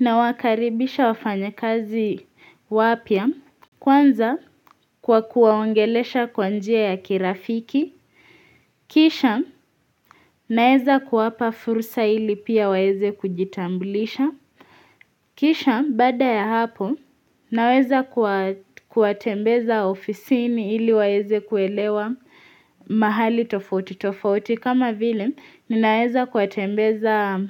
Nawakaribisha wafanyakazi wapya Kwanza kwa kuwaongelesha kwa njia ya kirafiki Kisha naeza kuwapa fursa ili pia waeze kujitambulisha Kisha baada ya hapo naweza kuwatembeza ofisiini ili waeze kuelewa mahali tofauti tofauti kama vile, ninaeza kuwatembeza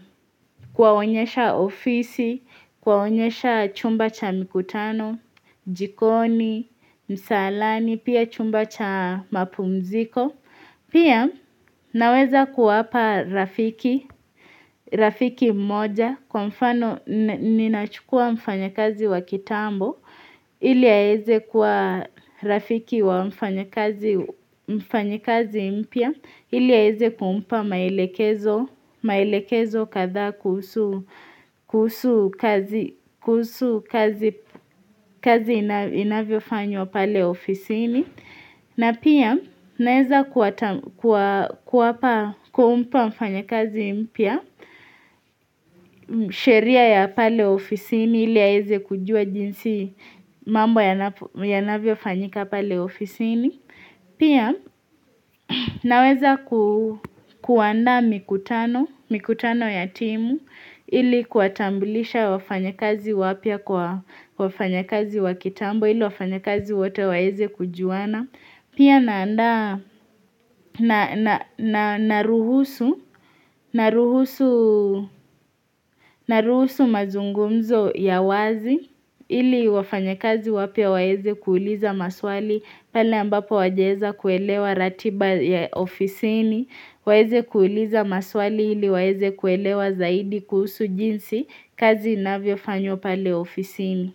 kuwaonyesha ofisi, kuwaonyesha chumba cha mikutano, jikoni, msalani, pia chumba cha mapumziko. Pia naweza kuwapa rafiki moja kwa mfano ninachukua mfanyakazi wa kitambo ili aeze kuwa rafiki wa mfanyikazi mpya ili aeze kumpa maelekezo kadha kuhusu kuhusu kazi inavyofanywa pale ofisini. Na pia naweza kuwapa kumpa mfanyakazi mpya, sheria ya pale ofisini ili aeze kujua jinsi mambo yanavyofanyika pale ofisini. Pia naweza kuandaa mikutano, mikutano ya timu ili kuwatambulisha wafanyakazi wapya kwa wafanyakazi wa kitambo ili wafanyakazi wote waeze kujuana. Pia naanda naruhusu mazungumzo ya wazi ili wafanyakazi wapya waeze kuuliza maswali pale ambapo hawajaeza kuelewa ratiba ya ofisini. Waeze kuuliza maswali ili waeze kuelewa zaidi kuhusu jinsi kazi inavyofanywa pale ofisini.